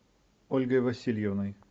ольгой васильевной